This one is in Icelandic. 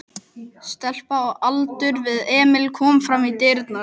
Stelpa á aldur við Emil kom fram í dyrnar.